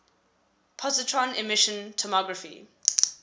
positron emission tomography